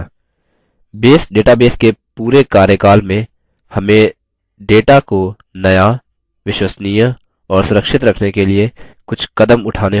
base database के पूरे कार्यकाल में हमें data को नया विश्वसनीय और सुरक्षित रखने के लिए कुछ कदम उठाने होंगे